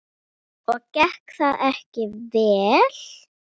Þetta er Arnar, mamma!